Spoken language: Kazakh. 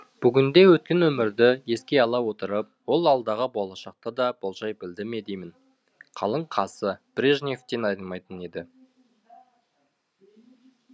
бүгінде өткен өмірді еске ала отырып ол алдағы болашақты да болжай білді ме деймін қалың қасы брежневтен айнымайтын еді